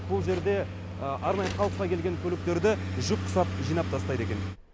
бұл жерде арнайы қалыпқа келген көліктерді жүк құсап жинап тастайды екен